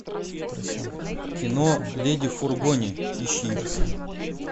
кино леди в фургоне ищи